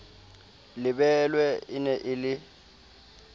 lebelwe e ne e le